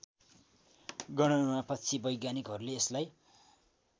गणनापछि वैज्ञानिकहरूले यसलाई